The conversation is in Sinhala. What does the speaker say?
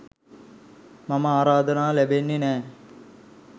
මට ආරාධනා ලැබෙන්නෙ නෑ.